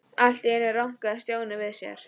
Allt í einu rankaði Stjáni við sér.